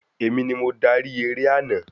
Èmi ni mo darí eré àná